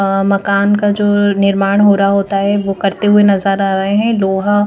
अ मकान का जो निर्माण हो रहा होता है वो करते हुए नजर आ रहे हैं लोहा--